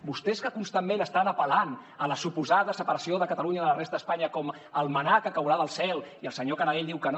vostès que constantment estan apel·lant a la suposada separació de catalunya de la resta d’espanya com el mannà que caurà del cel i el senyor canadell diu que no